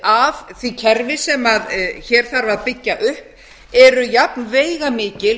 af því kerfi sem hér þarf að byggja upp eru jafn veigamikil